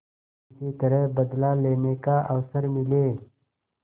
किसी तरह बदला लेने का अवसर मिले